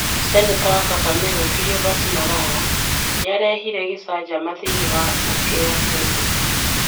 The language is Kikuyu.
Seneta wa Kakamega Cleophas Malala nĩarehire gĩcanjama thĩinĩ wa mbunge ya Seneti ,